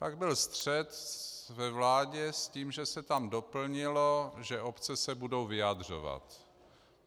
Pak byl střet ve vládě s tím, že se tam doplnilo, že obce se budou vyjadřovat.